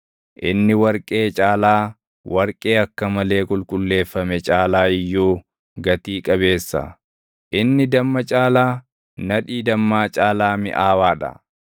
Inni warqee caalaa, warqee akka malee qulqulleeffame caalaa iyyuu gatii qabeessa; inni damma caalaa, nadhii dammaa caalaa miʼaawaa dha.